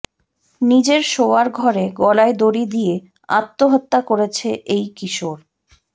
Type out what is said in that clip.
নিজের শোওয়ার ঘরে গলায় দড়ি দিয়ে আত্মহত্যা করেছে এই কিশোর